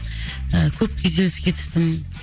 і көп күйзеліске түстім